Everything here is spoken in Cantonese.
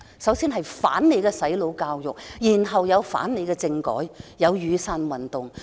首先是反對"洗腦"國民教育，然後是反對政改，繼而出現雨傘運動。